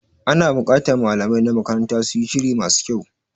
Ana bukatar malamai na makaranta su yi shiri ma su kyau.